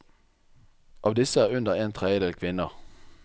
Av disse er under en tredjedel kvinner.